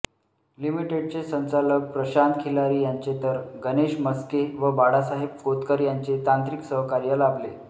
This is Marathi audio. लिमिटेडचे संचालक प्रशांत खिलारी यांचे तर गणेश म्हस्के व बाळासाहेब कोतकर यांचे तांत्रिक सहकार्य लाभले